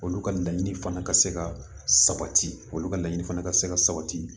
Olu ka laɲini fana ka se ka sabati olu ka laɲini fana ka se ka sabati